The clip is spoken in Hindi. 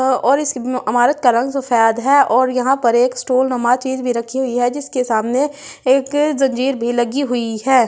और इस इमारत का रंग सफ़ेद है और यहाँ पर एक स्टूल लुमा चीज भी रखी हुई है जिसमे सामने एक जंगीर भी लगी हुई है।